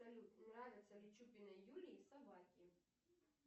салют нравятся ли чупиной юлии собаки